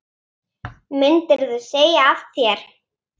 Myndirðu segja af þér?